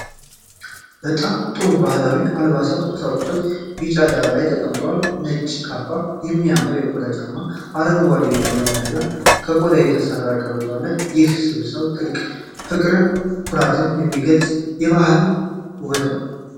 በጣም ጥሩ ባህላዊ አልባሳትና ቁሳቁሶች ቢጫ ዳራ ላይ ተቀምጠዋል። ነጭ ካባ፣ የሚያምር የቆዳ ጫማ፣ አረንጓዴ የቆዳ መያዣ እና ከቆዳ የተሠራ ቀበቶ አለ። ይህ ስብስብ ጥልቅ ፍቅርና ኩራትን የሚገልጽ የባህል ውበት ነው።